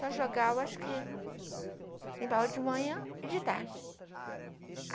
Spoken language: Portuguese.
Só jogava, acho que, limpava de manhã e de tarde.